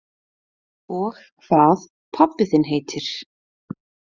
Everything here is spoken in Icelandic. Og hvað pabbi þinn heitir.